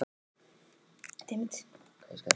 Brosa og klobba Hvaða liði myndir þú aldrei spila með?